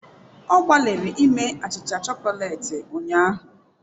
Ọ gbalịrị ime achịcha chokoleti ụnyahụ.